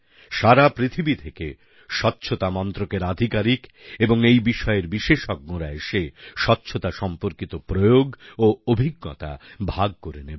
সারা পৃথিবীর থেকে স্বচ্ছতা মন্ত্রকের আধিকারিক এবং এই বিষয়ের বিশেষজ্ঞরা এসে স্বচ্ছতা সম্পর্কিত প্রয়োগ ও অভিজ্ঞতা ভাগ করে নেবেন